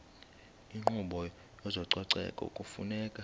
inkqubo yezococeko kufuneka